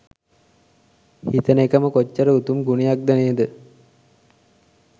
හිතන එකම කොච්චර උතුම් ගුණයක්ද නේද?